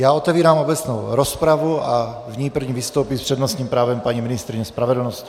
Já otevírám obecnou rozpravu a v ní první vystoupí s přednostním právem paní ministryně spravedlnosti.